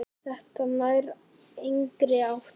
Þetta nær engri átt.